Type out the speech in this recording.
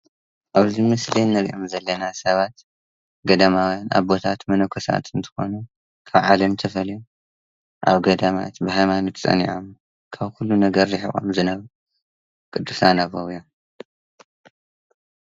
ኣብዚ ምስሊ እንርኦም ዘለና ሰባት ገዳማውያን ኣቦታት መነኮሳት እንትኮኑ ካብ ዓለም ተፈልዮም ኣብ ገዳማት ብሃይማኖት ፀኒዖም ካብ ኩሉ ነገር ሪሒቆም ዝነበሩ ቅዱሳነ ኣባውያን ።